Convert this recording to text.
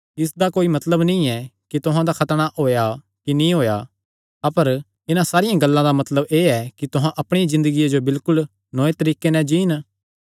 इसदा कोई मतलब नीं ऐ कि तुहां दा खतणा होएया कि नीं होएया अपर इन्हां सारियां गल्लां दा मतलब एह़ ऐ कि तुहां अपणिया ज़िन्दगिया जो बिलकुल नौये तरीके नैं जीन